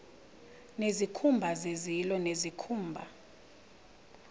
nezikhumba zezilo nezikhumba